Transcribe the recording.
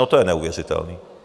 No to je neuvěřitelné.